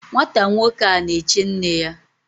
Nwata nwoke a na-eche nne ya